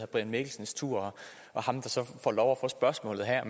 brian mikkelsens tur og ham der så får lov at få spørgsmålet her